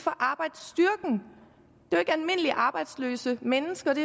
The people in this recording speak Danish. for arbejdsstyrken og arbejdsløse mennesker det